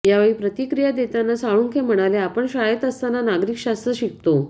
यावेळी प्रतिक्रिया देतांना साळुंखे म्हणाले आपण शाळेत असतांना नागरिक शास्त्र शिकतो